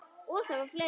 Og það var fleira.